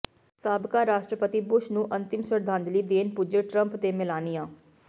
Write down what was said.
ਸਾਬਕਾ ਰਾਸ਼ਟਰਪਤੀ ਬੁਸ਼ ਨੂੰ ਅੰਤਿਮ ਸ਼ਰਧਾਂਜਲੀ ਦੇਣ ਪੁੱਜੇ ਟਰੰਪ ਤੇ ਮੇਲਾਨੀਆ